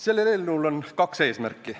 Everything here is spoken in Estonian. Sellel eelnõul on kaks eesmärki.